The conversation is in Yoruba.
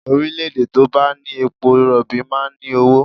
Orílẹ̀-èdè tó bá ní epo rọ̀bì máa ń ní owó